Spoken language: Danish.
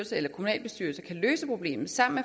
eller kommunalbestyrelsen kan løse problemet sammen